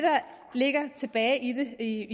ligger tilbage i